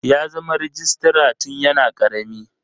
Ya zama rejistra tun yana karami.